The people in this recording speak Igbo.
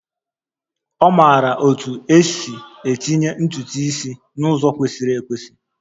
Ọ maara otú e si etinye ntutu isi n'ụzọ kwesịrị ekwesị